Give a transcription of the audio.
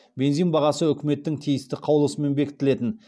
бензин бағасы үкіметтің тиісті қаулысымен бекітілетін